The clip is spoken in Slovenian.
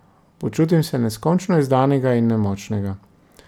Počutim se neskončno izdanega in nemočnega.